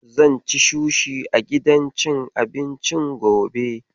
Zan ci sushi a gidan cin abincin gobe.